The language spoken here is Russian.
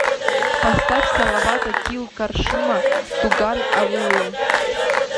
поставь салавата кил каршыма туган авылым